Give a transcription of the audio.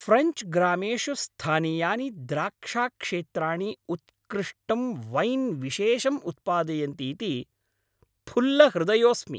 French ग्रामेषु स्थानीयानि द्राक्षाक्षेत्राणि उत्कृष्टं वैन् विशेषं उत्पादयन्ति इति फुल्लहृदयोस्मि।